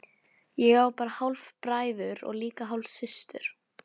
Ég á bara hálfbræður og líka hálfsystur.